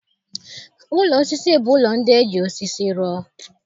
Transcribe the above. Ụlọ osisi bụ ụlọ ndị e ji osisi rụọ